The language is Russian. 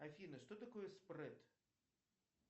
афина что такое спред